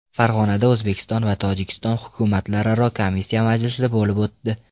Farg‘onada O‘zbekiston va Tojikiston hukumatlararo komissiya majlisi bo‘lib o‘tdi.